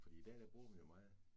Fordi i dag bruger man jo meget